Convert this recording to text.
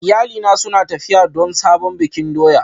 Iyalina suna tafiya don sabon bikin doya